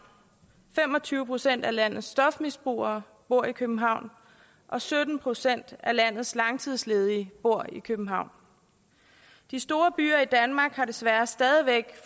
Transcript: fem og tyve procent af landets stofmisbrugere bor i københavn og sytten procent af landets langtidsledige bor i københavn de store byer i danmark har desværre stadig væk